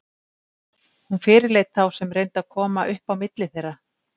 Hún fyrirleit þá sem reyndu að koma upp á milli þeirra.